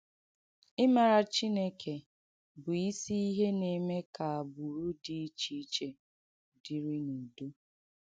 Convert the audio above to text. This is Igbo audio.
Ịmàrà Chìnèkè Bụ́ Ìsì Ìhe na-eme ka àgbùrù dị ichè ìchè dịrị n’Ùdo.